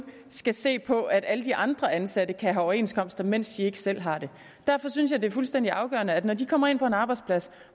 skal se på at alle de andre ansatte kan have overenskomster mens de ikke selv har det derfor synes jeg det er fuldstændig afgørende at når de kommer ind på en arbejdsplads